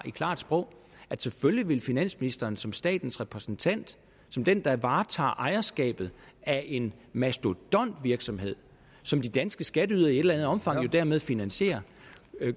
i klart sprog at selvfølgelig vil finansministeren som statens repræsentant som den der varetager ejerskabet af en mastodontvirksomhed som de danske skatteydere i et eller andet omfang jo dermed finansierer